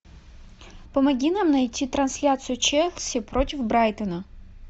помоги нам найти трансляцию челси против брайтона